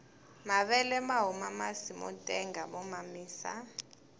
mavele mahuma masi motenga mo mamisa